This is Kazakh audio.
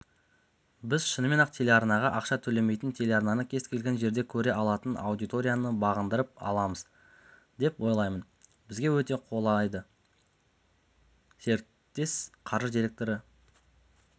біз шынымен-ақ телеарнаға ақша төлемейтін телеарнаны кез-келген жерде көре алатын аудиторияны бағындырып аламыз деп ойлаймын бізге өте қолайды серіктес қаржы директоры